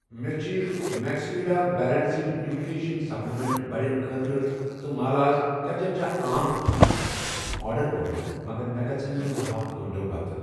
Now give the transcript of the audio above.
مےٚ چھ میکسویڈا بیلنٛسڈ نیوٗٹرٛشن سپلِمنٛٹ بڑٮ۪ن خٲطرٕ تہ مالاز کچچا آم فرٛوٗٹ سِرپ آرڈر کوٚرمُت مگر مےٚ گژھَن یِم بَہو گٲنٛٹو پتہٕ۔